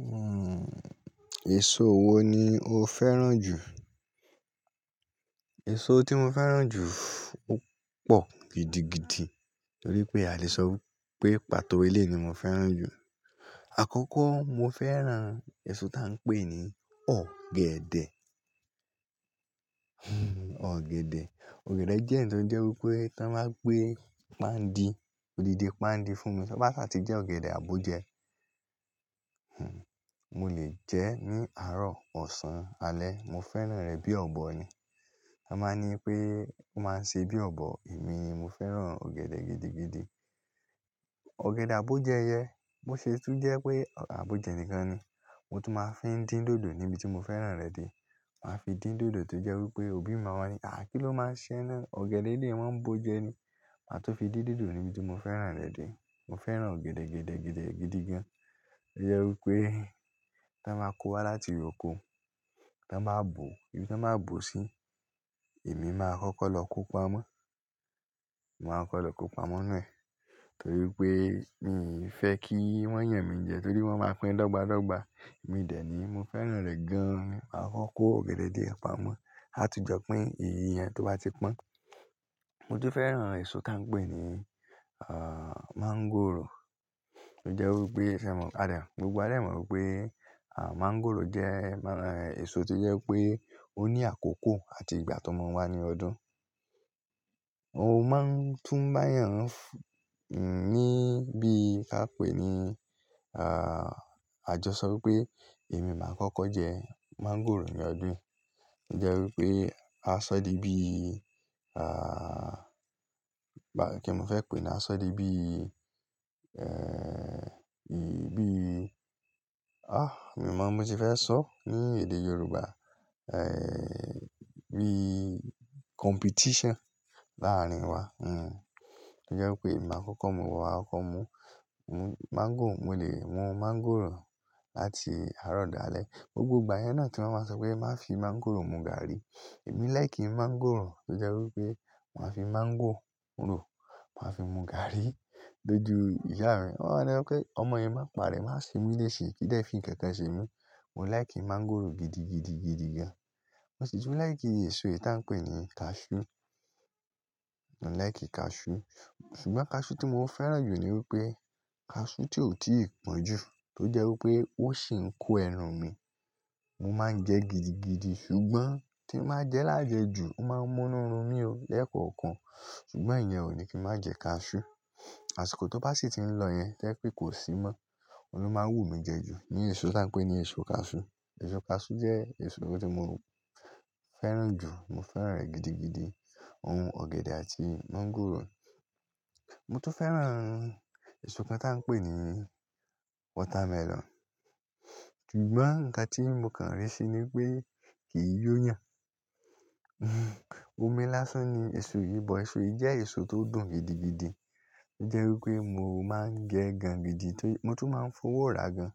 Hmm, èso wo ni o fẹ́ràn jù? Èso tí mo fẹ́ràn jù ó pọ̀ gidigidi torí pé a lè sọ wípé pàtó elé ni mo fẹ́ràn jù. Àkọ́kọ́ mo fẹ́ràn èso tá ń pè ní ọ̀gẹ̀dẹ̀. Hmm ọ̀gẹ̀dẹ̀. Ọ̀gẹ̀dẹ̀ jẹ́ nnkan tó ń jẹ́ wípé tí wọ́n bá gbé páǹdí, odidi páǹdí fún mi, tí o bá sa ti jẹ́ ọ̀gẹ̀dẹ̀ àbójẹ́, hmm mo lè jẹ́ ní àárọ̀, ọ̀sán, alẹ́. Mo fẹ́ràn rẹ̀ bí ọ̀bọ ni. Wọn máa ń ní pé wọ́n máa ń ṣe bí ọ̀bọ, èmi mo fẹ́ràn ọ̀gẹ̀dẹ̀ gidigidi. Ọ̀gẹ̀dẹ̀ àbójẹ́ yẹn, bo se tún jẹ́ wipé ogede abójẹ́ nìkan ni. Mo tun máa fi ń dín dòdò níbi tí mo fẹ́ràn rẹ̀ de. Màá fi dín dòdò tó jẹ́ wípé òbí mi máa wá ní, "àá kí ló máa ṣẹ́ e na?" Ọ̀gẹ̀dẹ̀ eleyìí wọ́n ń bo jẹ ni. Màá tun fi dín dòdò níbi tí mo fẹ́ràn rẹ̀ de. Mo fẹ́ràn ọ̀gẹ̀dẹ̀, ọ̀gẹ̀dẹ̀, ọ̀gẹ̀dẹ̀ gidi gan. Ó jẹ́ wípé tí wọ́n bá kó wá láti oko, tí wọ́n bá bò ó, ibi tí wọ́n bá bò ó sí, èmi máa kọ́kọ́ lọ kó pamọ́. Mo máa kọ́kọ́ lọ kó pamọ́ ninu e, torí wipé mi i fẹ́ kí wọ́n yàn mí jẹ toríi wọ́n máa pín dọ́gba dọ́gba. Èmi dẹ̀ ní mo fẹ́ràn rẹ̀ gan ni, máa kọ kó ọ̀gẹ̀dẹ̀ die pamọ́. A tun jọ pin ìyí ìyẹn tó bá ti pọ́n. Mo tun fẹ́ràn èso tá ń pè ní, ah, máńgòrò. Ó jẹ́ wípé se mọ, ah, gbogbo wa dà lè mọ wípé, ah, máńgòrò jẹ́, má, èso tí jẹ́ pé ó ní àkókò àti ìgbà tó máa ń wá ní ọdún. Ó máa ń túnbáyàn f-- n-ní bí kí a pè ni, ah, àjọsọ wípé èmi máa kọ́kọ́ jẹ máńgòrò ní ọdún yìí. Ó jẹ́ wípé aṣọ́dì bí, ah, bá kí ni mo fẹ́ pè é ní aṣọ́dì bí, eh, bí, ah, mi o ọ̀ mo ti fẹ́ sọ ní èdè Yorùbá. Eh, bí competition láàárín wa. Hmm. Ó jẹ́ wípé èmi máa kọ́kọ́ mú, wá kó mu, mu máńgò. Mo lè mú máńgòrò láti àárọ̀ dá alẹ́. Gbogbo ìgbà yẹn náà tí wọ́n máa ń sọ pé má fi máńgòrò mu gàárì. Èmi like máńgòrò tó jẹ́ wípé màá fi máńgòrò, màá fi mu gàárì lójú ìyá mi. Wọn máa ń ní ọmọ yẹn má pa rẹ̀, máa ṣemú léṣe. Kídẹ́ fín nkankan semi Mo like máńgòrò gidigidi, gidigan. Mo sì tún like gidi èso eyi ti á ń pè ní cashew. Mo like cashew. Ṣùgbọ́n cashew tí mo fẹ́ràn jù ni wípé cashew tí ò tíì pọ́n jù tó jẹ́ wípé ó sì ń kó ẹran mi. Mo máa ń jẹ́ gidigidi ṣùgbọ́n tí mo bá jẹ́ lájẹ̀ẹ́ jù, ó máa ń mú inú run mí o lẹ́kọ̀ọ̀kan. Ṣùgbọ́n ìyẹn ò ní kí n má jẹ́ cashew. Àṣìkò tó bá sì ti ń lọ yẹn jẹ́ pé kò sí mọ́. Òun ló máa wú mí jẹ́ jù ní èso tá ń pè ní èso cashew. Èso cashew jẹ́ èso tó ti mo fẹ́ràn jù. Mo fẹ́ràn rẹ̀ gidigidi. Ohun ọ̀gẹ̀dẹ̀ àti máńgòrò. Mo tó fẹ́ràn èso kan tá ń pè ní watermelon. Ṣùgbọ́n ǹkan tí mo kàn rí síi ni pé kì í yó yàn. Omi lásán ni èso yìí, but èso yìí jẹ́ èso tó dùn gidigidi. Ó jẹ́ wípé mo máa ń jẹ ẹ́ gan gidi, ti mo tún máa ń fọwọ́ rà gan.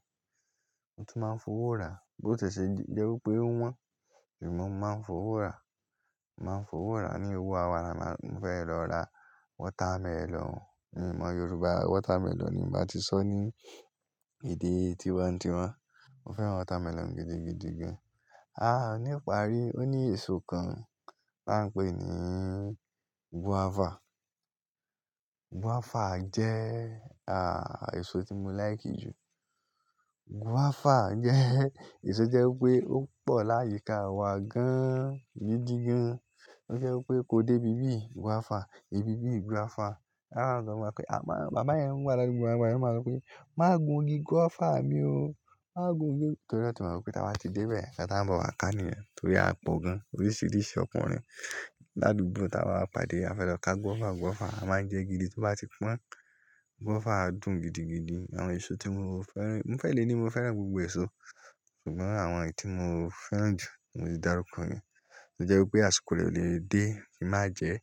Mo tún máa ń fọwọ́ rà. Bí ó ti ṣe jẹ́ wípé o wọ́n, èmi mo máa ń fọwọ́ rà. Mo máa ń fọwọ́ rà ní owó ara mi. Mo fẹ́ lọ ra watermelon. Èmi mọ Yorùbá watermelon ni. Mi ba ti sọ ní èdè tínwa tinwa Mo fẹ́ràn watermelon gidigidigan. Ah, nípa rí, ó ní èso kan tá ń pè ní guava. Guava jẹ́, ah, èso tí mo like jù. Guava jẹ́ èso tí o jẹ́ wípé ó pọ̀ láyìíká wa gan gidigan. Ó jẹ́ wípé kó dé ibi bí guava, ibi bí guava. A máa ń sọ fun wa wípé, à má, bàbá yẹn wa ládùúgbò wa nigbayen, o máa sọ wípé, "má gun igi guava mi o. Má gun igi "Torí o tí mọ wípé tí a bá ti dé bẹ̀ẹ́, nnkan tí a ń bọ̀ wá ká niyen torí a pọ̀ gan. Oríṣìíríṣìí ọkùnrin ládùúgbò tí a bá pa dé, a fẹ́ lọ ká guava, guava. A máa ń jẹ gidi tó bá ti pọ́n. Guava dùn gidigidi. Àwọn èso tí mo fẹ́ràn-- mo fẹ́ le ní mo fẹ́ràn gbogbo èso. Ṣùgbọ́n àwọn yìí tí mo fẹ́ràn jù, mo ti dàrúkọ yen Ó jẹ́ wípé àsìkò re o lè dé, ki n màá jẹ́,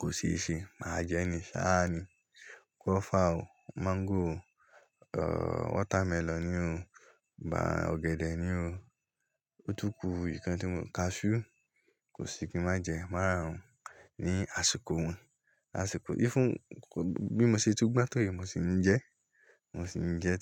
kò se ṣe. Màá jẹ́ ní ṣá ni. Guava o, mango o, ohhh, watermelon ni o. Ba ọ̀gẹ̀dẹ̀ ni o. Ótúkù ìkan tí mo, cashew kò sì kí n má jẹ́. Màárarun wọ́n ní àsìkò wọn. Àsìkò, even bí mo ṣe tún gbon to yii, mo sì ń jẹ. Mo sì ń jẹ́.